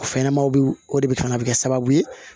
Fɛnɲɛnɛmaw o de bɛ ka na kɛ sababu ye